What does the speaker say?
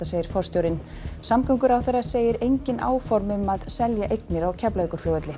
segir forstjórinn samgönguráðherra segir engin áform um að selja eignir á Keflavíkurflugvelli